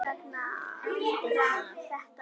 Eftir það